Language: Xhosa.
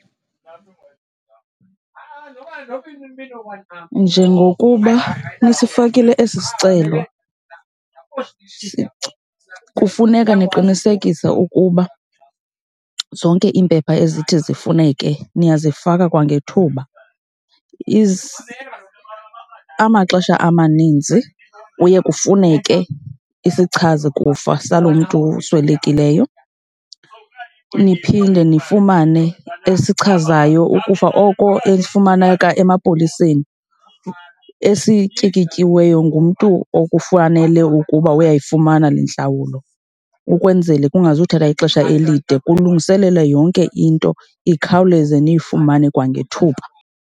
Njengokuba nisifakile esi sicelo, shici, kufuneka niqinisekise ukuba zonke iimpepha ezithi zifuneke niyazifaka kwangethuba. Amaxesha amaninzi kuye kufuneke isichazikufa salomntu uswelekileyo, niphinde nifumane esichazayo ukufa oko efumaneka emapoliseni, esityikityiweyo ngumntu oko kufanele ukuba uyayifumana le ntlawulo ukwenzele kungazuthatha ixesha elide. Kulungiseleke yonke into ikhawuleze niyifumane kwangethuba.